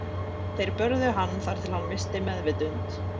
Þeir börðu hann þar til hann missti meðvitund.